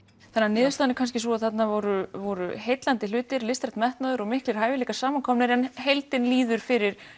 niðurstaðan er kannski sú að þarna voru voru heillandi hlutir listrænn metnaður og miklir hæfileikar samankomnir en heildin líður fyrir